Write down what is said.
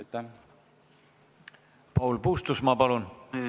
Paul Puustusmaa, palun!